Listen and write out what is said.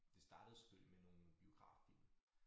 Det startede selvfølgelig med nogle biograffilm